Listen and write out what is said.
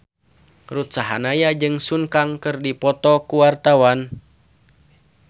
Ruth Sahanaya jeung Sun Kang keur dipoto ku wartawan